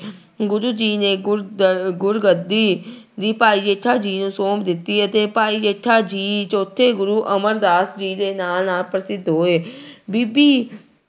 ਗੁਰੂ ਜੀ ਨੇ ਗੁਰਦ ਗੁਰਗੱਦੀ ਵੀ ਭਾਈ ਜੇਠਾ ਜੀ ਨੂੰ ਸੌਂਪ ਦਿੱਤੀ ਅਤੇ ਭਾਈ ਜੇਠਾ ਜੀ ਚੌਥੇ ਗੁਰੂ ਅਮਰਦਾਸ ਜੀ ਦੇ ਨਾਂ ਨਾਲ ਪ੍ਰਸਿੱਧ ਹੋਏ ਬੀਬੀ